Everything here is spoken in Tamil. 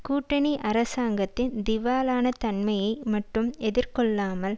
கூட்டணி அரசாங்கத்தின் திவாலான தன்மையை மட்டும் எதிர்கொள்ளாமல்